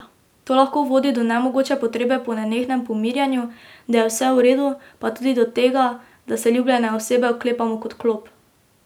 To lahko vodi do nemogoče potrebe po nenehnem pomirjanju, da je vse v redu, pa tudi do tega, da se ljubljene osebe oklepamo kot klop.